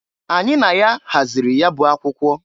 Anyị na ya hazịrị ya bụ akwụkwọ.